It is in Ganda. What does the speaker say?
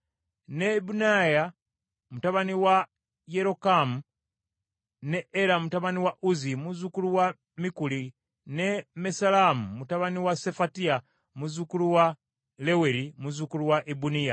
ne Ibuneya mutabani wa Yerokamu, ne Era mutabani wa Uzzi, muzzukulu wa Mikuli, ne Mesullamu mutabani wa Sefatiya, muzzukulu wa Leweri, muzzukulu wa Ibuniya.